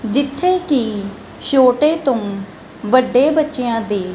ਜਿੱਥੇ ਕੀ ਛੋਟੇ ਤੋਂ ਵੱਡੇ ਬੱਚੇਆਂ ਦੀ--